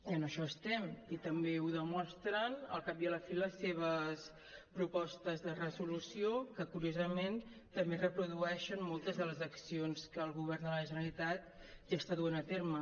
i en això estem i també ho demostren al cap i a la fi les seves propostes de resolució que curiosament també reprodueixen moltes de les accions que el govern de la generalitat ja està duent a terme